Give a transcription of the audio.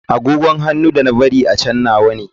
Agogon hannu da na bari a can nawa ne.